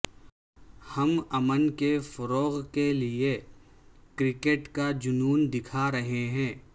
ہم امن کے فروغ کیلئے کرکٹ کا جنون دکھا رہے ہیں